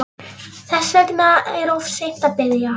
Þess vegna er of seint að biðja